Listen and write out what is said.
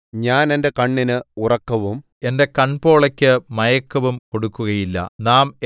ഞാൻ എന്റെ കണ്ണിന് ഉറക്കവും എന്റെ കൺപോളയ്ക്ക് മയക്കവും കൊടുക്കുകയില്ല